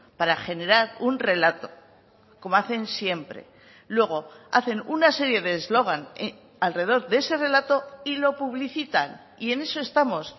para generar un relato como hacen siempre luego hacen una serie de eslogan alrededor de ese relato y lo publicitan y en eso estamos